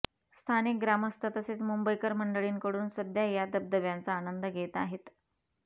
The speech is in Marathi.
स्थानिक ग्रामस्थ तसेच मुंबईकर मंडळींकडून सध्या या धबधब्यांचा आनंद घेत आहेत